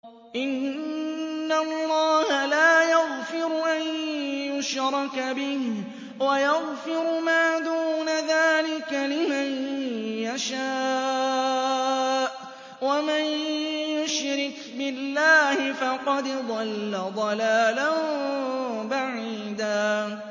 إِنَّ اللَّهَ لَا يَغْفِرُ أَن يُشْرَكَ بِهِ وَيَغْفِرُ مَا دُونَ ذَٰلِكَ لِمَن يَشَاءُ ۚ وَمَن يُشْرِكْ بِاللَّهِ فَقَدْ ضَلَّ ضَلَالًا بَعِيدًا